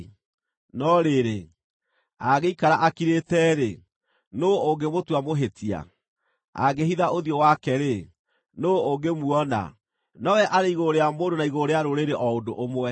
No rĩrĩ, angĩikara akirĩte-rĩ, nũũ ũngĩmũtua muhĩtia? Angĩhitha ũthiũ wake-rĩ, nũũ ũngĩmuona? Nowe arĩ igũrũ rĩa mũndũ na igũrũ rĩa rũrĩrĩ o ũndũ ũmwe,